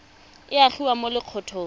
a a gogiwang mo lokgethong